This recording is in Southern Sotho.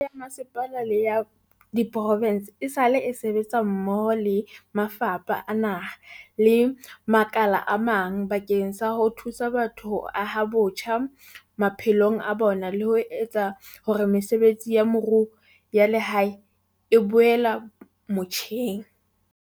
Mebuso ya bomasepala le ya diprovense esale e sebetsa mmoho le mafapha a naha le makala a mang bakeng sa ho thusa batho ho aha botjha maphelo a bona le ho etsa hore mesebetsi ya moruo ya lehae e boela motjheng.